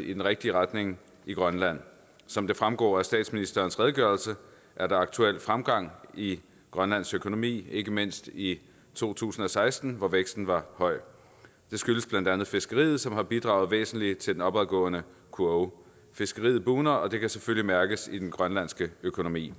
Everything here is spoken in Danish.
i den rigtige retning i grønland som det fremgår af statsministerens redegørelse er der aktuelt fremgang i grønlands økonomi ikke mindst i to tusind og seksten hvor væksten var høj det skyldes blandt andet fiskeriet som har bidraget væsentligt til den opadgående kurve fiskeriet bugner og det kan selvfølgelig mærkes i den grønlandske økonomi